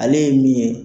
Ale ye min ye